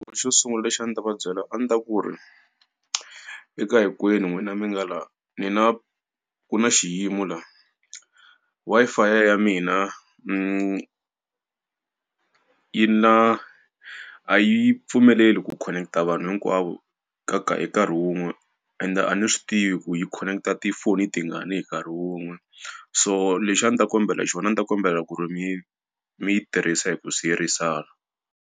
Xo sungula lexi a ndzi ta va byela a ndzi ta ku ri eka hinkwenu n'wina mi nga laha, ni na ku na xiyimo laha. Wi-Fi ya mina ni yi na a yi pfumeleli ku khoneketa vanhu hinkwavo ka ka hi nkarhi wun'we ende a ni swi tivi ku yi khoneketa tigoni tingani hi nkarhi wun'we. So lexi a ni ta kombela xona a ni ta kombela ku ri mi mi yi tirhisa hi ku siyerisana.